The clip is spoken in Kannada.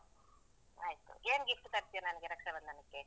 ಆಯ್ತು. ಏನ್ gift ತರ್ತ್ಯ ನಂಗೆ ರಕ್ಷಾಬಂಧನಕ್ಕೆ?